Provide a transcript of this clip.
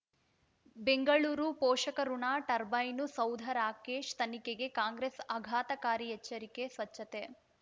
ಬೆಂಗಳೂರು ಪೋಷಕಋಣ ಟರ್ಬೈನು ಸೌಧ ರಾಕೇಶ್ ತನಿಖೆಗೆ ಕಾಂಗ್ರೆಸ್ ಆಘಾತಕಾರಿ ಎಚ್ಚರಿಕೆ ಸ್ವಚ್ಛತೆ